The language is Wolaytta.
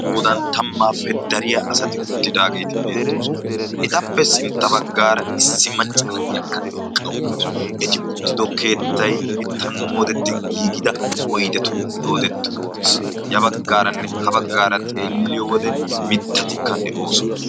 goodan tammaappe dariya asati uttidaageeti beettoosona. etappe sintta baggaara issi macca naiyakka eqqa uttaasu. eti uttido keettai mittan moodetti giigida oidetun doodetti uttiis. ya baggaaranne ha baggaara xeelliyo wode mittatikka de7oosona.